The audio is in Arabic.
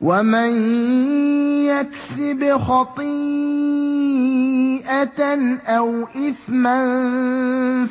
وَمَن يَكْسِبْ خَطِيئَةً أَوْ إِثْمًا